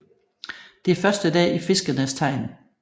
Det er første dag i Fiskenes tegn